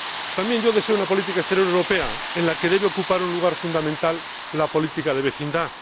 También yo deseo una política exterior europea, en la que debe ocupar un lugar fundamental la política de vecindad.